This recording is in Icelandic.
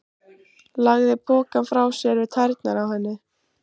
Lagði pokann frá sér við tærnar á henni.